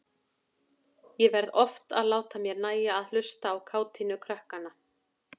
Ég varð oft að láta mér nægja að hlusta á kátínu krakkanna.